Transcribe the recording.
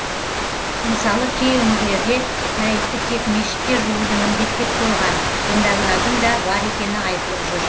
мысалы кей өңірлерде мәйітті тек мешітте жууды міндеттеп қойған діндарлардың да бар екені айтылып жүр